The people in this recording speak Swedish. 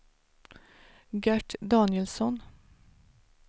Gert Danielsson